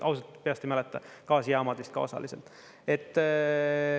Ausalt, peast ei mäleta, gaasijaamad vist ka osaliselt.